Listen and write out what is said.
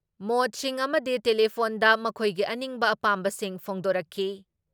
ꯃꯣꯠꯁꯤꯡ ꯑꯃꯗꯤ ꯇꯦꯂꯤꯐꯣꯟꯗ ꯃꯈꯣꯏꯒꯤ ꯑꯅꯤꯡꯕ ꯑꯄꯥꯝꯕꯁꯤꯡ ꯐꯣꯡꯗꯣꯔꯛꯈꯤ ꯫